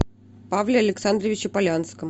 павле александровиче полянском